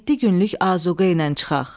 Yeddi günlük azuqə ilə çıxaq.